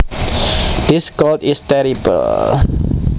This cold is terrible